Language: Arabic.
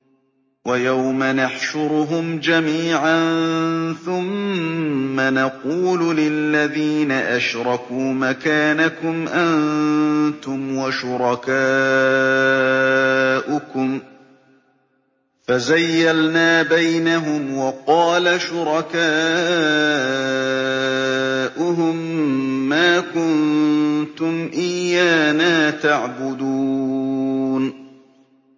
وَيَوْمَ نَحْشُرُهُمْ جَمِيعًا ثُمَّ نَقُولُ لِلَّذِينَ أَشْرَكُوا مَكَانَكُمْ أَنتُمْ وَشُرَكَاؤُكُمْ ۚ فَزَيَّلْنَا بَيْنَهُمْ ۖ وَقَالَ شُرَكَاؤُهُم مَّا كُنتُمْ إِيَّانَا تَعْبُدُونَ